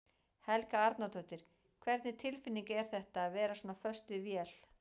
Helga Arnardóttir: Hvernig tilfinning er þetta, að vera svona föst við vél?